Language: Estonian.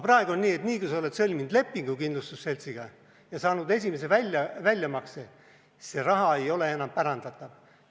Praegu on nii, et niipea, kui sa oled sõlminud lepingu kindlustusseltsiga ja saanud esimese väljamakse, siis see raha ei ole enam pärandatav.